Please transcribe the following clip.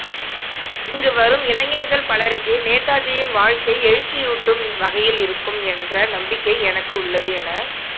இங்கு வரும் இளைஞர்கள் பலருக்கு நேதாஜியின் வாழ்க்கை எழுச்சியூட்டும் வகையில் இருக்கும் என்ற நம்பிக்கை எனக்கு உள்ளது என